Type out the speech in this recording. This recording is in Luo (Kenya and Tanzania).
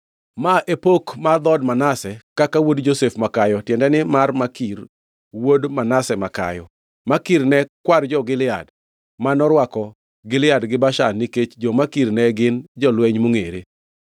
Ma e pok mar dhood Manase, kaka wuod Josef makayo, tiende ni, mar Makir, wuod Manase makayo. Makir ne kwar jo-Gilead, ma norwako Gilead gi Bashan nikech jo-Makir ne gin jolweny mongʼere.